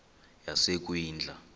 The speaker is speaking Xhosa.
yasekwindla